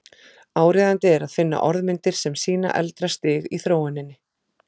Áríðandi er að finna orðmyndir sem sýna eldra stig í þróuninni.